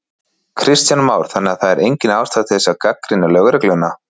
Kristján Már: Þannig að það er engin ástæða til þess að gagnrýna lögregluna?